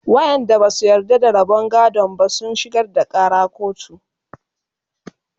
waƴanda Basu yarda da rabon gadon ba sun shigar da Ƙara kotu